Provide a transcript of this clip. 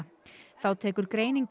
þá tekur